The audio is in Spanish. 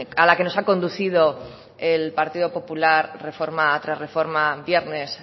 a la que nos ha conducido el partido popular reforma tras reforma viernes